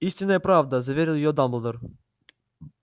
истинная правда заверил её дамблдор